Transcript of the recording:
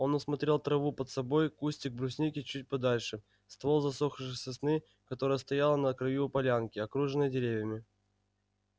он осмотрел траву под собой кустик брусники чуть подальше ствол засохшей сосны которая стояла на краю полянки окружённой деревьями